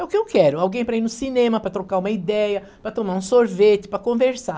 É o que eu quero, alguém para ir no cinema, para trocar uma ideia, para tomar um sorvete, para conversar.